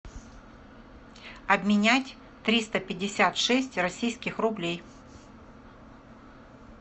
обменять триста пятьдесят шесть российских рублей